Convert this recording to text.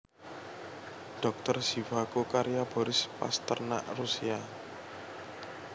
Dhokter Zhivago karya Boris Pasternak Rusia